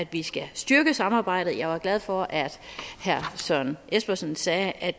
vi skal styrke samarbejdet jeg var glad for at herre søren espersen sagde at